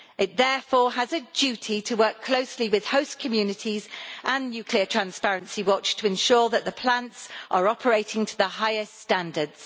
It therefore has a duty to work closely with host communities and Nuclear Transparency Watch to ensure that the plants are operating to the highest standards.